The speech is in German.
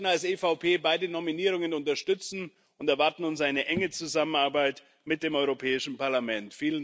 Wir werden als EVP beide Nominierungen unterstützen und erwarten uns eine enge Zusammenarbeit mit dem Europäischen Parlament.